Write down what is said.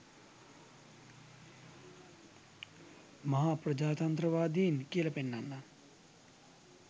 මහා ප්‍රජාතන්ත්‍රවාදීන් කියලා පෙන්නන්න